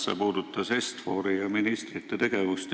See puudutas Est-Fori ja ministrite tegevust.